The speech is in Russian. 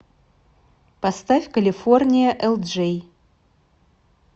поставь калифорния элджей